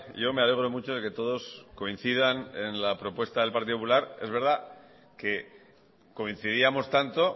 yo me alegro mucho de que todos coincidan en la propuesta del partido popular es verdad que coincidíamos tanto